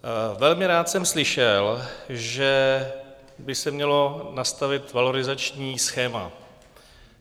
Velmi rád jsem slyšel, že by se mělo nastavit valorizační schéma.